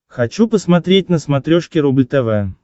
хочу посмотреть на смотрешке рубль тв